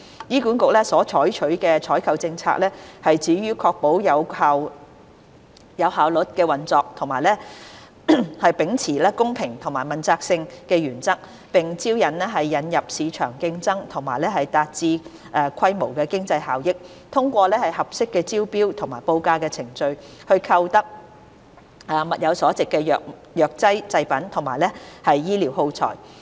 醫管局所採取的採購政策，旨在確保有效率的運作及秉持公平及具問責性的原則，並引入市場競爭和達致規模經濟效益，通過合適的招標或報價程序，購得物有所值的藥劑製品及醫療耗材。